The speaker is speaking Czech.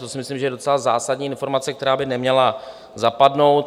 To si myslím, že je docela zásadní informace, která by neměla zapadnout.